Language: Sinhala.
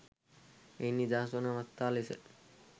එයින් නිදහස් වන අවස්ථා ලෙස